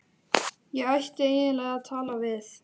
Ég ætti eiginlega að tala við